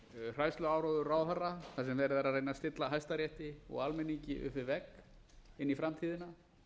hræðsluáróður ráðherra þar sem er verið að reyna að stilla hæstarétti og almenningi upp við vegg inn í framtíðina